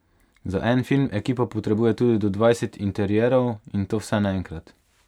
Za en film ekipa potrebuje tudi do dvajset interierov, in to vse naenkrat.